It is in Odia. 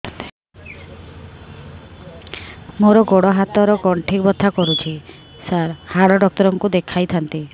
ମୋର ଗୋଡ ହାତ ର ଗଣ୍ଠି ବଥା କରୁଛି ସାର ହାଡ଼ ଡାକ୍ତର ଙ୍କୁ ଦେଖାଇ ଥାନ୍ତି